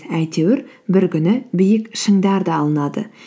әйтеуір бір күні биік шыңдар да алынады